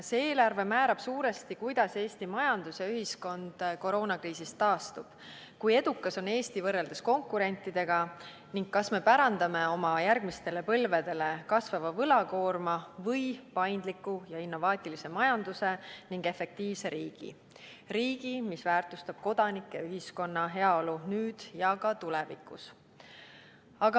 See eelarve määrab suuresti, kuidas Eesti majandus ja ühiskond koroonakriisist taastub, kui edukas on Eesti võrreldes konkurentidega ning kas me pärandame järgmistele põlvedele kasvava võlakoorma või paindliku ja innovaatilise majanduse ning efektiivse riigi – riigi, mis väärtustab kodanike ja ühiskonna heaolu nüüd ja ka tulevikus.